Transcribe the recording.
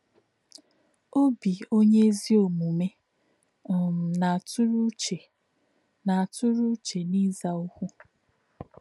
“Ọ̀bí̄ ọ̀nyé̄ ézì ọ̀mùmè̄ um nā̄-àtụ̄rụ̄ uchē nā̄-àtụ̄rụ̄ uchē n’í̄zà̄ ọ̀kwú̄.”